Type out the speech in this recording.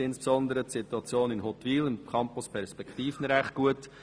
Ich kenne ins besondere die Situation in Huttwil im Campus Perspektiven recht gut.